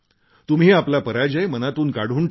तुम्ही आपला पराजय मनातून काढून टाका